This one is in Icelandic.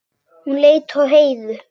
Hún leit á Heiðu.